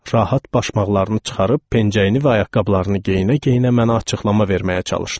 Rahat başmaqlarını çıxarıb pencəyini və ayaqqabılarını geyinə-geyinə mənə açıqlama verməyə çalışdı.